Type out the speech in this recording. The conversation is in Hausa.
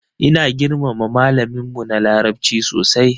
Ina girmama malamin mu na larabci sosai.